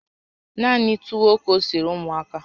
Naanị tuwo ka o siri ụmụaka